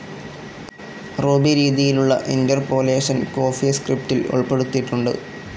Ruby രീതിയിലുള്ള interpolation കോഫീസ്ക്രിപ്റ്റിൽ ഉൾപ്പെടുത്തിയിട്ടുണ്ട്.